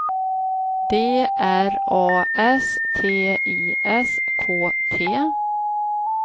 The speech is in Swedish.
D R A S T I S K T